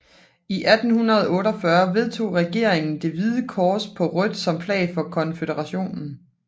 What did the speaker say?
I 1848 vedtog regeringen det hvide kors på rødt som flag for konføderationen